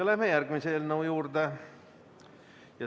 Läheme järgmise eelnõu juurde.